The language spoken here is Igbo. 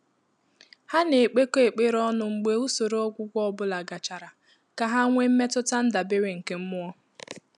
Há nà-ékpékọ́ ékpèré ọ́nụ̀ mgbè ùsòrò ọ́gwụ́gwọ́ ọ́ bụ́lá gàchàrà kà há nwèé mmétụ́tà ndàbéré nké mmụ́ọ́.